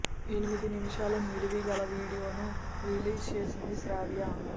ఎనిమిది నిముషాల నిడివి గల వీడియో ను రిలీజ్ చేసింది శ్రావ్య